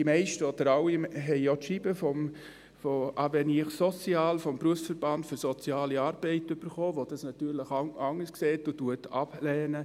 Die meisten, oder alle, haben auch das Schreiben von AvenirSocial erhalten, dem Berufsverband für soziale Arbeit, der das natürlich anders sieht und ablehnt.